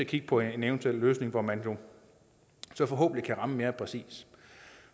kigge på en eventuel løsning hvor man så forhåbentlig kan ramme mere præcist